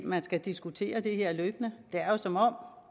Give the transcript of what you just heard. man skal diskutere det her løbende det er jo som om